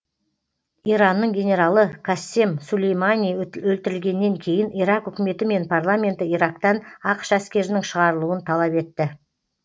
иранның генералы кассем сулеймани өлтірілгеннен кейін ирак үкіметі мен парламенті ирактан ақш әскерінің шығарылуын талап етті